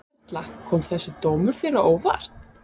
Erla: Kom þessi dómur þér á óvart?